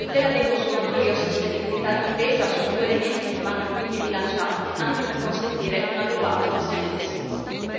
Tutela dei consumatori e sostenibilità d'impresa sono due elementi che vanno quindi bilanciati, anche per consentire un'adeguata gestione dei sinistri.